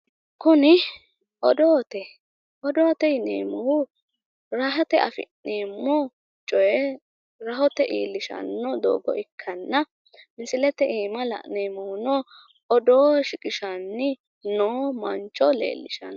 Kuni odoote odoote yineemmohu rahote afi'neemmo rahote afi'neemmo coye rahoye afi'neemmo coye doogo ikkanna misilete aana la'neemmohuno odoo shiqishanni noo manchooti.